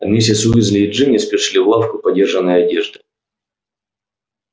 а миссис уизли и джинни спешили в лавку подержанной одежды